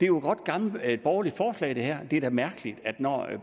jo et godt gammelt borgerligt forslag det her det er da mærkeligt at når det